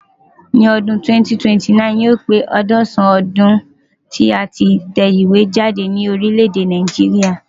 Ní ọdún 2029,yóò pé àádọ́sàn-án ọdún tí a tí ń tẹ ìwé jáde ní orílẹ̀ èdè Nàìjíríà.